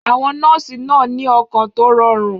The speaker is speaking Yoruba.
Àwọn nọ́ọ̀sì náà ní ọkàn tó rọrùn.